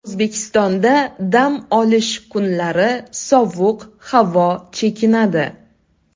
O‘zbekistonda dam olish kunlari sovuq havo chekinadi.